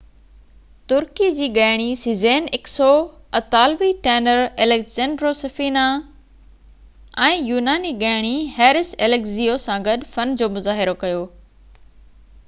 ترڪي جي ڳائڻي Sezen Aksu اطالوي ٽينر ايليسنڊرو سفينا ۽ يوناني ڳائڻي هيرس اليگزيو سان گڏ فن جو مظاهرو ڪيو